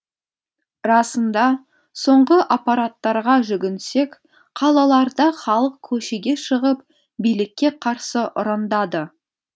расында соңғы аппараттарға жүгінсек қалаларда халық көшеге шығып билікке қарсы ұрандады